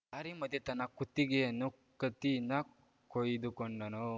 ದಾರಿ ಮಧ್ಯೆ ತನ್ನ ಕುತ್ತಿಗೆಯನ್ನು ಕತ್ತಿಯಿಂದ ಕೊಯ್ದುಕೊಂಡನು